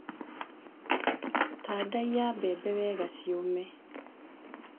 Tandaiya mbembe wega ciũme.